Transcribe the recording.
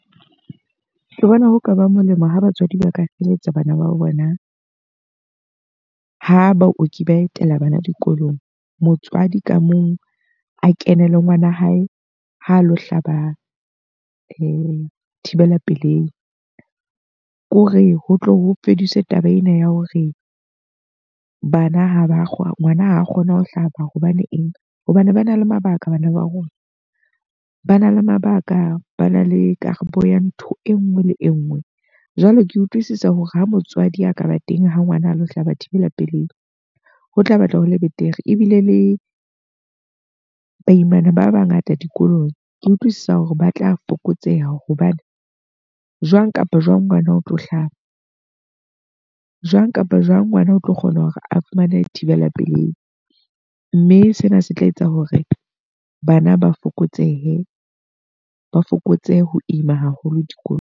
Ke bona ho ka ba molemo ha batswadi ba ka feletsa bana ba bona ha baoki ba etela bana dikolong. Motswadi ka mong a kene le ngwana hae ha a lo hlaba thibela pelehi. Ko re ho tle ho fedise taba ena ya hore bana ha ba ngwana ha a kgona ho hlaba hobane eng. Hobane ba na le mabaka bana ba rona, ba na le mabaka, ba na le karabo ya ntho e nngwe le e nngwe. Jwale ke utlwisisa hore ha motswadi a ka ba teng ha ngwana a lo hlaba thibela pelehi, ho tla batla ho le betere. Ebile le baimana ba bangata dikolong, ke utlwisisa hore ba tla fokotseha hobane jwang kapa jwang ngwana o tlo hlaba. Jwang kapa jwang ngwana o tlo kgona hore a fumane thibela pelei. Mme sena se tla etsa hore bana ba fokotsehe, ba fokotse ho ima haholo dikolong.